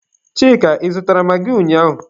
Chika, Ị zụtara magị ụnyaahụ?